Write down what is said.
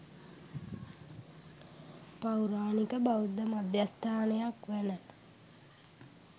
පෞරාණික බෞද්ධ මධ්‍යස්ථානයක් වන